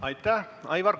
Aitäh!